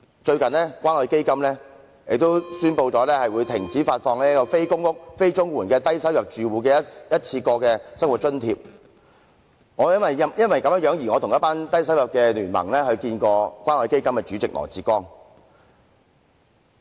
最近，關愛基金宣布停止發放"非公屋、非綜援的低收入住戶一次過生活津貼"，我因而曾聯同某低收入聯盟成員與關愛基金的主席羅致光見面。